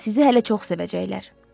Sizi hələ çox sevəcəklər.